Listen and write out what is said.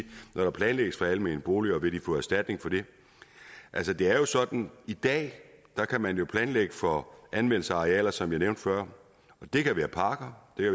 når der planlægges for almene boliger vil de få erstatning for det det er jo sådan i dag at man kan planlægge for anvendelse af arealer som jeg nævnte før det kan være parker det